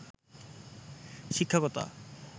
শিক্ষাকতা